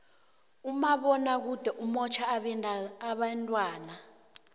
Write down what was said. umabonakude umotjha abentwana